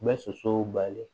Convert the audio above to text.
N bɛ sosow bali